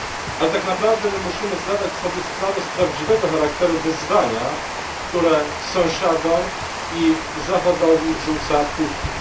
Ale tak naprawdę my musimy zdawać sobie sprawę z prawdziwego charakteru wyzwania, które sąsiadom i Zachodowi rzuca Putin.